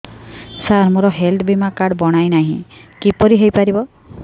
ସାର ମୋର ହେଲ୍ଥ ବୀମା କାର୍ଡ ବଣାଇନାହିଁ କିପରି ହୈ ପାରିବ